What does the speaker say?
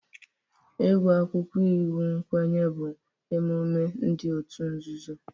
Ịgụ akwụkwọ iwu nkwenye bụ emume ndị otu nzuzo